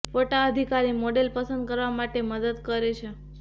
ફોટા અધિકાર મોડેલ પસંદ કરવા માટે મદદ કરે છે